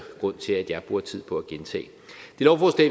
grund til at jeg bruger tid på at gentage